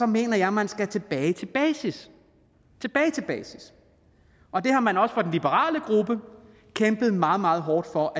mener jeg at man skal tilbage til basis basis og det har man også i den liberale gruppe kæmpet meget meget hårdt for